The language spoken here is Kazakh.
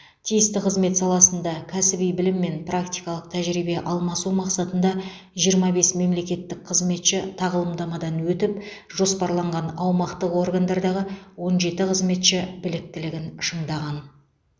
тиісті қызмет саласында кәсіби білім мен практикалық тәжірибе алмасу мақсатында жиырма бес мемлекеттік қызметші тағылымдамадан өтіп жоспарланған аумақтық органдардағы он жеті қызметші біліктілігін шыңдаған